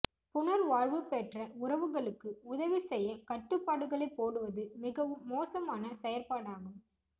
புனர்வாழ்வு பெற்ற உறவுகளுக்கு உதவி செய்ய கட்டுப்பாடுகளைப் போடுவது மிகவும் மோசமான செயற்பாடாகும்